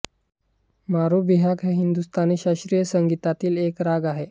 मारु बिहाग हा हिंदुस्तानी शास्त्रीय संगीतातील एक राग आहे